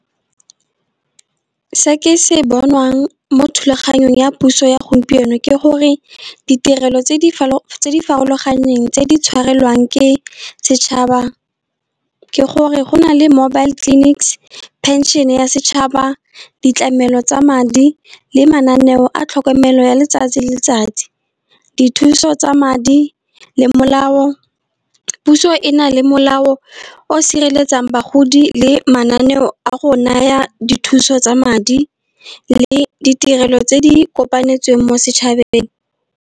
Se ke se bonwang mo thulaganyong ya puso ya gompieno ke gore, ditirelo tse di farologaneng tse di tshwarelwang ke setšhaba. Ke gore go na le mobile clinics, pension ya setšhaba, ditlamelo tsa madi le mananeo a tlhokomelo ya letsatsi le letsatsi. Dithuso tsa madi le molao, puso e na le molao o sireletsang bagodi le mananeo a go naya dithuso tsa madi, le ditirelo tse di kopanetsweng mo setšhabeng.